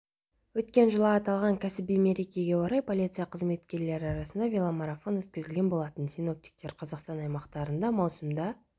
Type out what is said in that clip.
өткен жылы аталған кәсіби мерекеге орай полиция қызметкерлері арасында веломарафон өткізілген болатын синоптиктер қазақстан аймақтарында маусымда